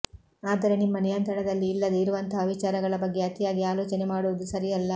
ಆದರೆ ನಿಮ್ಮ ನಿಯಂತ್ರಣದಲ್ಲಿ ಇಲ್ಲದೆ ಇರುವಂತಹ ವಿಚಾರಗಳ ಬಗ್ಗೆ ಅತಿಯಾಗಿ ಆಲೋಚನೆ ಮಾಡುವುದು ಸರಿಯಲ್ಲ